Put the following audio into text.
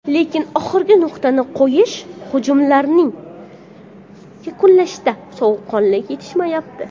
Lekin oxirgi nuqtani qo‘yish, hujumlarni yakunlashda sovuqqonlik yetishmayapti.